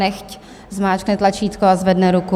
Nechť zmáčkne tlačítko a zvedne ruku.